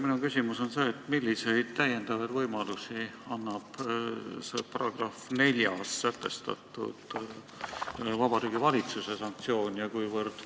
Minu küsimus on selline: milliseid täiendavaid võimalusi annab §-s 4 sätestatud Vabariigi Valitsuse sanktsioon?